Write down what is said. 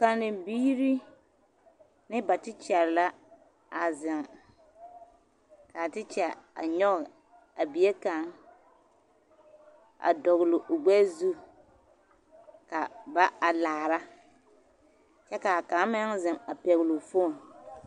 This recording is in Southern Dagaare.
Kanne biiri ne ba tekyɛ la a zeŋ ka a tekyɛ a nyɔɡe a bie kaŋ a dɔɡele o ɡbɛɛ zu ka ba a laara kyɛ ka kaŋ meŋ zeŋ a pɛɡele o foon.